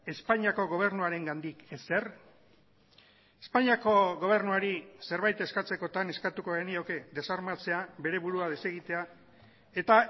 espainiako gobernuarengandik ezer espainiako gobernuari zerbait eskatzekotan eskatuko genioke desarmatzea bere burua desegitea eta